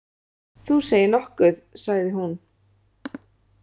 Þú segir nokkuð, sagði hún.